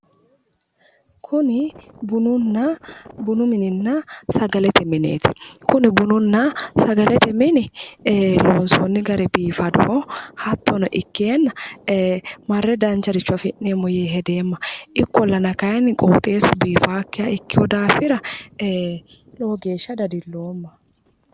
Kuni bununna sagalete mineeti. Bununna sagalete mine loonsoonni gari biiffannoho. Hattono ikkeenna marre danchare afi'neemmo yee hedeemma. ikkollana qooxeessu biifannokkiha ikkeenna dadiloomma.